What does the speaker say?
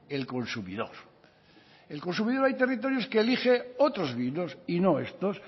el consumidor el consumidor hay territorios que elige otros vinos y no estos